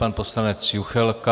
Pan poslanec Juchelka.